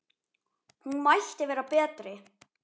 Hún mætti vera betri.